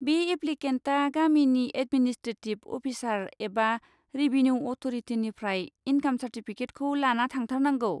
बे एप्लिकेन्टआ गामिनि एडमिनिसट्रेटिब अफिसार एबा रेबिनिउ अथ'रिटिनिफ्राय इनकाम सार्टिफिकिटखौ लाना थांथारनांगौ।